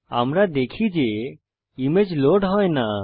আমরা দেখি যে ইমেজ লোড হয় না